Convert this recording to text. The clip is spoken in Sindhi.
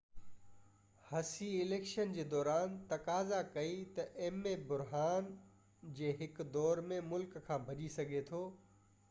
هسي اليڪشن جي دوران تقاضا ڪئي ته ايم اي بحران جي هڪ دور ۾ ملڪ کان ڀڄي سگهي ٿو